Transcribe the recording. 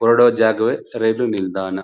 ಹೊರಡು ಜಾಗವೇ ರೈಲು ನಿಲ್ದಾಣ .